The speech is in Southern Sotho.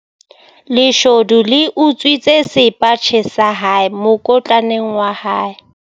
Leshodu le utswitse sepatjhe sa hae mokotlaneng wa hae.